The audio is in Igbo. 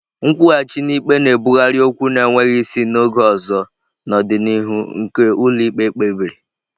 Nkwụghachi n'ikpe na-ebugharị okwu na-enweghị isi na oge ọzọ n'ọdịnihu nke ụlọ ikpe kpebiri.